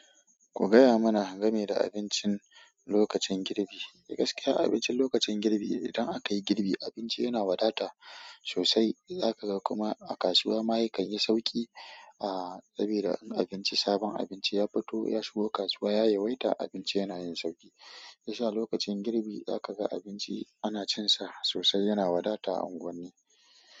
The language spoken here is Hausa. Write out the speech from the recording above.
Ku gaya mana game da abincin lokacin girbi. Gaskiya abincin lokacin girbi idan aka yi girbi, abinci yana wadata sosai. Za ka ga kuma a kasuwa ma ya kanyi sauƙi a sabida abinci sabon abinci ya fito, ya shigo kasuwa ya yawaita abinci yana yin sauƙi. Shi yasa lokacin girbi za ka ga abinci ana cinsa sosai yana wadata a unguwanni.